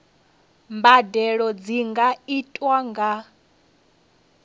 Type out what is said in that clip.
mbadelo dzi nga itwa nga